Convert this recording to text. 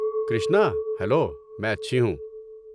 Krishna, hello. میں اچھی ہوں۔